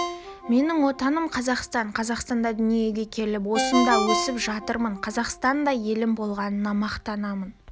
менің отаным – қазақстан қазақстанда дүниеге келіп осында өсіп жатырмын қазақстандай елім болғанына мақтанамын